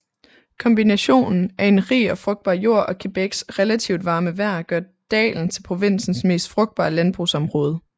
Kombinationen af en rig og frugtbar jord og Québecs relativt varme vejr gør dalen til provinsens mest frugtbare landbrugsområde